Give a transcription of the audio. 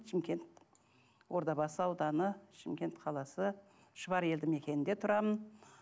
шымкент ордабасы ауданы шымкент қаласы шұбар елді мекенінде тұрамын